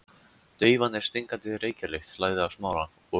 Daufa en stingandi reykjarlykt lagði af Smára og